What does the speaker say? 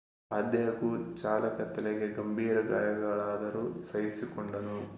ಆದಾಗ್ಯೂ ಚಾಲಕ ತಲೆಗೆ ಗಂಭೀರ ಗಾಯಗಳಾದರೂ ಸಹಿಸಿಕೊಂಡನು